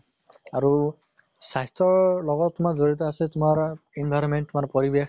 আৰু স্বাস্থ্য়ৰ লগত তোমাৰ জড়িত আছে তোমাৰ environment মানে পৰিবেশ